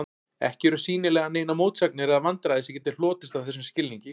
Ekki eru sýnilega neinar mótsagnir eða vandræði sem geti hlotist af þessum skilningi.